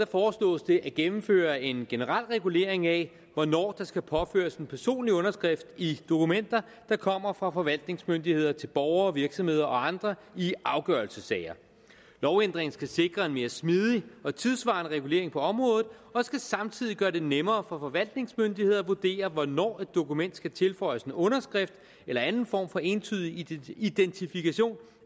foreslås det at gennemføre en generel regulering af hvornår der skal påføres en personlig underskrift i dokumenter der kommer fra forvaltningsmyndigheder til borgere virksomheder og andre i afgørelsessager lovændringen skal sikre en mere smidig og tidssvarende regulering på området og skal samtidig gøre det nemmere for forvaltningsmyndigheder at vurdere hvornår et dokument skal tilføjes en underskrift eller anden form for entydig identifikation